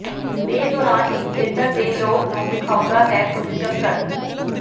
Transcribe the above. ਦੇ ਦੌਰਾਨ ਇਸ ਖੇਤਰ ਦੇ ਲੋਕ ਨੂੰ ਵੇਖਾਉਦਾ ਹੈ ਕੁਝ ਚੱਕਰ